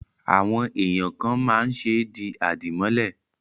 Àwọn èèyàn kàn máa ń ṣe di àdìmọ́lẹ̀